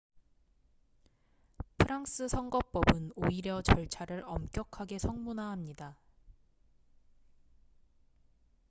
프랑스 선거법은 오히려 절차를 엄격하게 성문화합니다